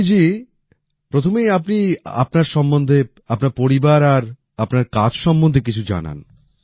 কল্যাণী জি প্রথমেই আপনি আপনার সম্বন্ধে আপনার পরিবার আর আপনার কাজ সম্বন্ধে কিছু জানান